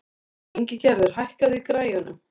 Ingigerður, hækkaðu í græjunum.